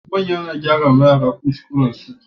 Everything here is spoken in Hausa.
Manya na gyara wa yara kuskuran su